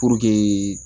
Puruke